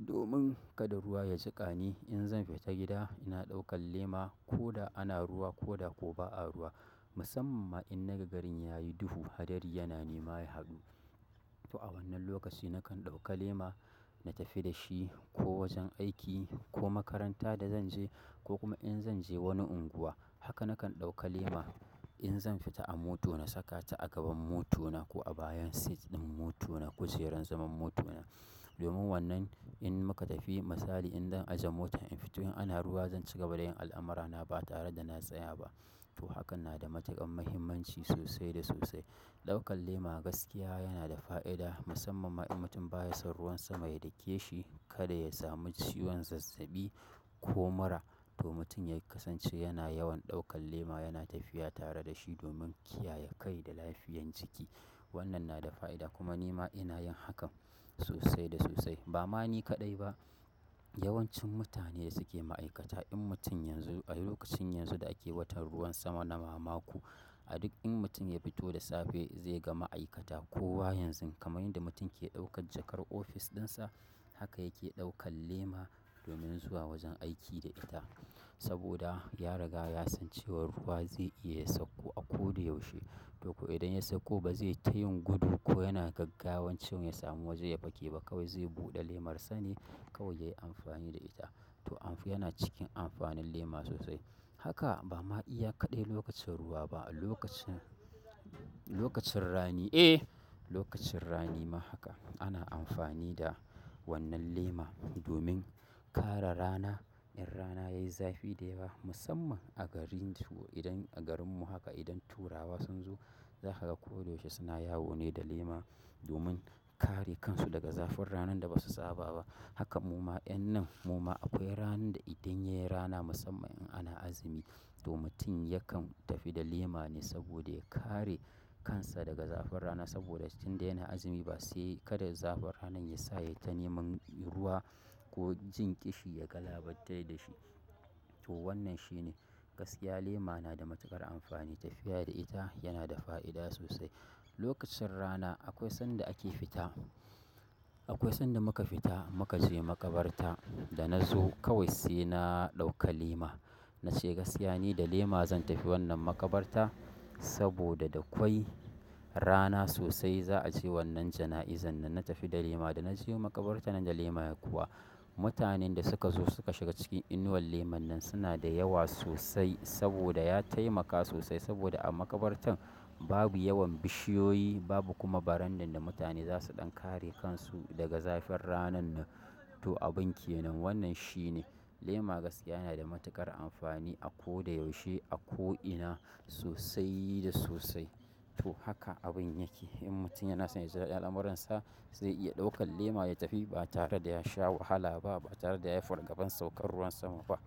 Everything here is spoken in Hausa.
domin kada ruwa ya jiƙa ni. In zan fita gida ina ɗaukan lema ko da ana ruwa ko da ko ba a ruwa. Musamman ma in naga garin yayi duhu, hadari yana nema ya haɗu. To a wannan lokaci nakan ɗauka lema, na tafi da shi ko wajen aiki ko makaranta da zan je ko kuma in zan je wani unguwa. Haka nakan ɗauka lema in zan fita a moto na saka ta a gaban moto na ko a bayan seat ɗin moto na, kujerar zaman moto na. Domin wannan in muka tafi misali in ɗan ajiye motan in fito in ana ruwa zan cigaba da yin al'amura na ba tare da na tsaya ba. To hakan na da matuƙan muhimmanci sosai da sosai. Ɗaukan lema gaskiya yana da fa'ida musamman ma in mutum baya son ruwan sama ya dake shi kada ya samu ciwon zazzaɓi ko mura. To mutum ya kasance yana yawan ɗaukan lema yana tafiya tare da shi domin kiyaye kai da lafiyan jiki. Wannan na da fa'ida kuma ni ma ina yin hakan sosai da sosai. Ba ma ni kaɗai ba, yawancin mutane suke ma'aikata in mutum yanzu a lokacin yanzu da ake watan ruwan sama na mamaku, a duk in mutum ya fito da safe zai ga ma'aikata kowa yanzu kamar yadda mutum yake ɗaukan jakar ofis ɗinsa, haka yake ɗaukan lema domin zuwa wajen aiki da ita. Saboda ya riga ya san cewa ruwa zai iya ya sauko a ko da yaushe. To ko idan ya sauko ba zai tayin gudu ko yana gaggawancin ya samu waje ya pake ba, kawai zai buɗe lemarsa ne kawai ya yi amfani da ita. To amf- yana cikin amfanin lema sosai. Haka ba ma iya kaɗai lokacin ruwa ba, lokacin, lokacin rani, eh, lokacin rani ma haka ana amfani da wannan lema domin kare rana in rana yayi zafi da yawa musamman a garin to idan a garinmu haka idan turawa sun zo za ka ga ko da yaushe suna yawo ne da lema domin kare kansu daga zafin ranan da basu saba ba. Haka muma, en nan muma akwai ranan da idan yayi rana musamman in ana azumi to mutum yakan tafi da lema ne saboda ya kare kansa daga zafin rana saboda tunda yana azumi ba sai kada zafin ranan ya sa ya yi ta neman ruwa ko jin ƙishi ya galabartar da shi. To wannan shine gaskiya lema na da matuƙar amfani, tafiya da ita yana da fa'ida sosai. Lokacin rana akwai sanda ake fita, akwai sanda muka fita muka je makabarta da na zo kawai sai na ɗauka lema. Na ce gaskiya ni da lema zan tafi wannan makabarta saboda da kwai rana sosai za a ce wannan jana'izan nan. Na tafi da lema da na je makabarta nan da lema kuwa mutanen da suka zo suka shiga cikin inuwar lemon nan suna da yawa sosai saboda ya taimaka sosai saboda a makabartan babu yawan bishiyoyi babu kuma barandan da mutane za su ɗan kare kansu daga zafin ranan nan. To abun ke nan wannan shine lema gaskiya yana da matuƙar amfani a ko da yaushe a ko ina sosai da sosai. Toh haka abun yake in mutum yana so ya ji daɗin al'amuransa zai iya ɗaukan lema ya tafi ba tare da ya sha wahala ba ba tare da yayi fargaban saukan ruwan sama ba.